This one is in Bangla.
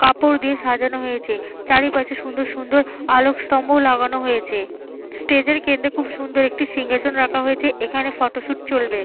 কাপড় দিয়ে সাজানো হয়েছে। চারিপাশে খুব সুন্দর সুন্দর আলোকস্তম্ভ লাগানো হয়েছে। স্টেজ - এর কেন্দ্রে খুব সুন্দর একটি সিংহাসন রাখা হয়েছে। এইখানে ফটোশুট চলবে।